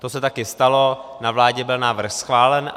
Což se také stalo, na vládě byl návrh schválen.